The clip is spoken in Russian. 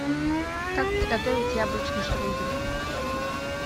как приготовить яблочный штрудель